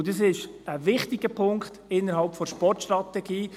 Und dies ist ein wichtiger Punkt innerhalb der Sportstrategie.